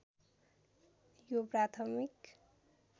यो प्राथमिक